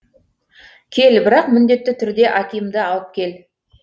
кел бірақ міндетті түрде акимды алып кел